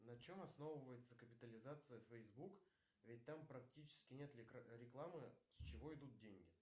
на чем основывается капитализация фейсбук ведь там практически нет рекламы с чего идут деньги